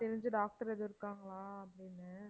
தெரிஞ்ச doctor ஏதும் இருக்காங்களா அப்படின்னு